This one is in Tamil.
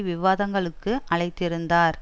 விவாதங்களுக்கு அழைத்திருந்தார்